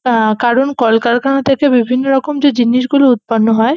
আহ কারণ কলকারখানা থেকে বিভিন্ন রকম যে জিনিসগুলো উৎপন্ন হয়--